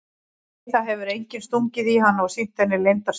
Nei það hefur enginn stungið í hana og sýnt henni leyndar stjörnur.